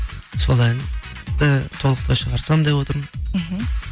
сол әнді толықтай шығарсам деп отырмын мхм